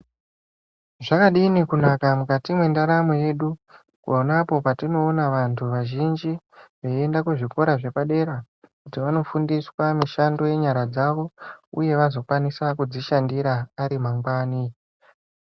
Zvakadini kunaka mukati mwendaramo yedu ponapo patinoona vantu vazhinji veienda kuzvikora zvepadera kuti vanofundiswa mishando yenyara dzavo uye vazokwanisa kudzishandira ari mangwani.